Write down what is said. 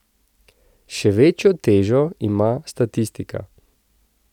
Še večjo težo ima statistika.